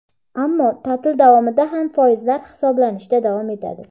ammo ta’til davomida ham foizlar hisoblanishda davom etadi.